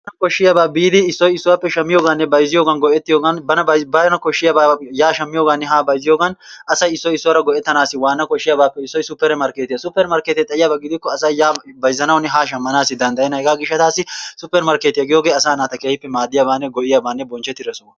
Koshshiyaaba biidi issoy issuwappe shammiyooganne bayzziyoogan go''ettiyoogan bana koshshiyaana yaa bayzziyooganne haa shammiyoogan asay issoy issuwaara go''ettanassi waana koshshiyaabappe issoy supper marketiyaa. Suppermarkkete xayiyaaba gidikko asay yaa bayzzanawunne ha shammanawu danddayeenna. Hegaa gishshatassi suppermarkketiyaa giyoogee asaa naata keehippe maaddiyaabanne go''iyaabanne bonchchetida sohuwaa.